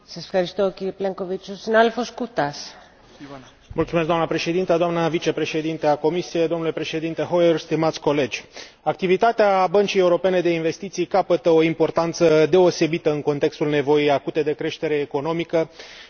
Doamnă președinte, doamnă vicepreședinte a Comisiei, domnule președinte Hoyer, stimați colegi, activitatea Băncii Europene de Investiții capătă o importanță deosebită în contextul nevoii acute de creștere economică și de reducere a șomajului și sărăciei în Uniunea Europeană.